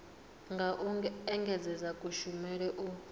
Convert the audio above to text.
nga u engedzedza kushumele u